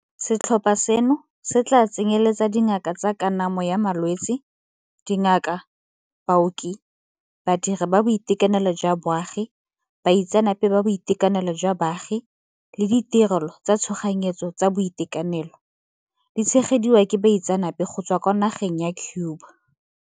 Setlhopha seno se tla tsenyeletsa dingaka tsa kanamo ya malwetse, dingaka, baoki, badiri ba tsa boitekanelo jwa baagi, baitseanape ba boitekanelo jwa baagi le ditirelo tsa tshoganyetso tsa boitekanelo, di tshegediwa ke baitseanape go tswa kwa nageng ya Cuba.